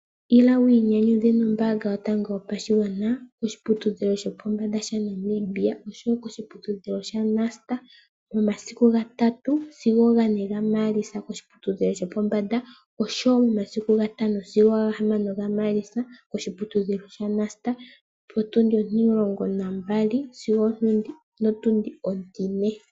Ila wu inyanyudhe nombaanga yotango yopashigwana koshiputudhilo shopombanda shaNamibia osho wo koshiputudhilo shaNust momasiku gatatu sigo gane gaMaalitsa koshiputudhilo shopombanda, osho wo momasiku gatano sigo gahamano gaMaalitsa koshiputudhilo shaNust oku za potundi ontilongo nontiyali sigo opotundi ontine.